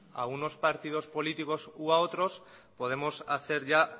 a unos partidos políticos u a otros podemos cerrar ya